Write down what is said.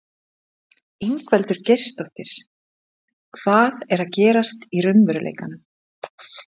Ingveldur Geirsdóttir: Hvað er að gerast í raunveruleikanum?